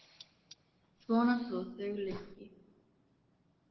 Svona tala þau lengi.